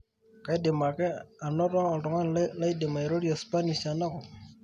kaidim ake anoto oltungani laidim airorie spanish tenakop